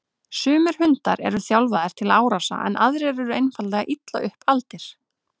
Sumir hundar eru þjálfaðir til árása en aðrir eru einfaldlega illa upp aldir.